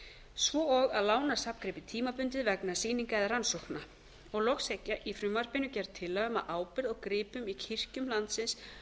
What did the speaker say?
svo og að lána safngripi tímabundið vegna sýninga eða rannsókna loks er í frumvarpinu gerð tillaga um að ábyrgð á gripum í kirkjum landsins